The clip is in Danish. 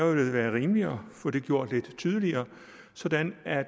vel være rimeligt at få det gjort lidt tydeligere sådan at